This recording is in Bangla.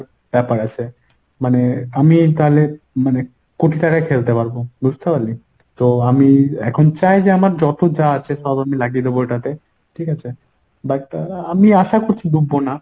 ব্যপার আছে। মানে আমি তাহলে মানে কোটি টাকায় খেলতে পারবো। বুঝতে পারলি? তো আমি এখন চাই যে আমার যত যা আছে সব আমি লাগিয়ে দেব এটাতে। ঠিকাছে? but আমি আশা করছি ভুগবো না।